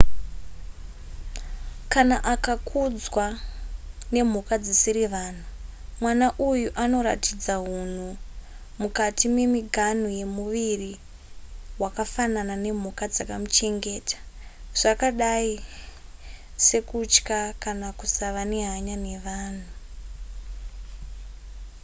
kana akakudzwa nemhuka dzisiri vanhu mwana uyu anoratidza hunhu mukati memiganhu yemuviri hwakafanana nemhuka dzakamuchengeta zvakadai sekutya kana kusava nehanya nevanhu